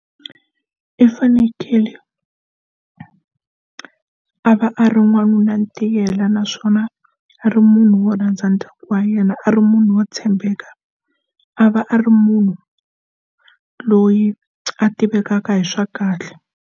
I fanekele a va a ri n'wanuna tiyela naswona a ri munhu wo rhandza ndyangu wa yena a ri munhu wo tshembeka a va a ri munhu loyi a tivekaka hi swa kahle.